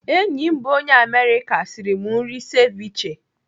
Enyi m bụ onye Amerịka sịrị m nri seviche.